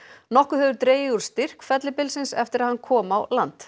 nokkuð hefur dregið úr styrk fellibylsins eftir að hann kom á land